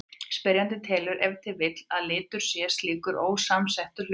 Spyrjandinn telur ef til vill að litur sé slíkur ósamsettur hlutur.